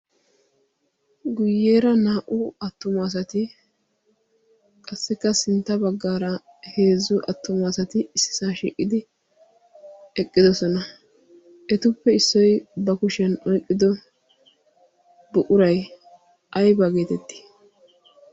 guyyeera naa"u attumaasati qassikka sintta baggaara heezzu attumaasati issisaa shiiqidi eqqidosona etuppe issoi ba kushiyan oiqqido buquray aybaa geetetti?